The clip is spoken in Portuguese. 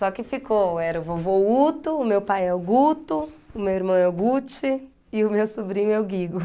Só que ficou, era o vovô Uto, o meu pai é o Guto, o meu irmão é o Guti e o meu sobrinho é o Guigo.